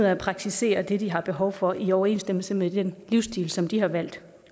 af at praktisere det de har behov for i overensstemmelse med den livsstil som de har valgt